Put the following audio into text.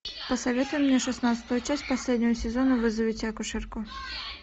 посоветуй мне шестнадцатую часть последнего сезона вызовите акушерку